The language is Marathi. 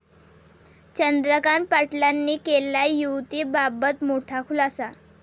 चंद्रकांत पाटलांनी केला 'युती'बाबत मोठा खुलासा